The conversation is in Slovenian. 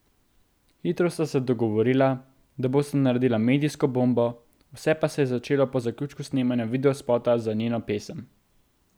Hitro sta se dogovorila, da bosta naredila medijsko bombo, vse pa se je začelo po zaključku snemanja videospota za njeno pesem.